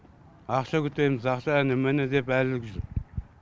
ақша күтеміз ақша әне міне деп әлі жүр